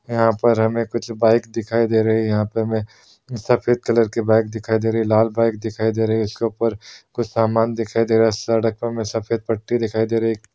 यहाँ पर हमें कुछ बाइक दिखाई दे रही है यहां हमें सफेद कलर की बाइक दिखाई दे रही है लाल बाइक दिखाई दे रही है उसके ऊपर कुछ सामान दिखाई दे रहा है सड़क प्मे सफ़ेद पट्टी दिखाई दे रह है।